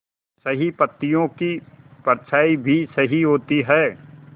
सही पत्तियों की परछाईं भी सही होती है